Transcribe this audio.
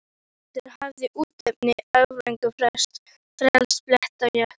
Og Erlendur hafði útnefnt Öræfin fegursta blett á jarðríki.